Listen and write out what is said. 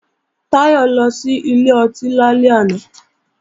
Táyọ̀ lọ sí ilé ọtí lálẹ́ àná